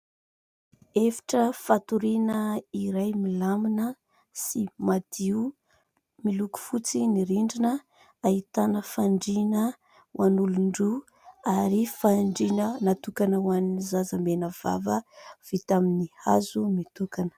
Efitra fatoriana iray milamina sy madio. Miloko fotsy ny rindrina. Ahitana fandriana ho an'olon-droa ary fandriana natokana ho an'ny zaza menavava vita amin'ny hazo mitokana.